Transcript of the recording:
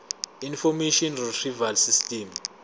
information retrieval system